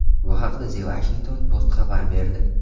Bu haqda The Washington Post xabar berdi .